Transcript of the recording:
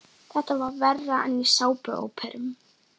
Þetta er verra en í sápuóperum.